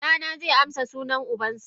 Dana ze amsa sunan ubansa.